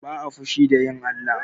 Ba'a fushi da yin Allah.